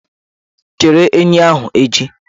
Chere enyi ahụ echi!